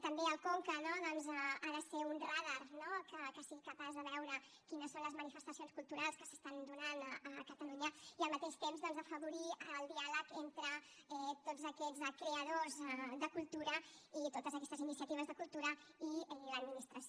també el conca doncs ha de ser un radar que sigui capaç de veure quines són les manifestacions culturals que s’estan donant a catalunya i al mateix temps doncs afavorir el diàleg entre tots aquests creadors de cultura i totes aquestes iniciatives de cultura i l’administració